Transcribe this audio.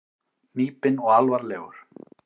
Hnípinn og alvarlegur.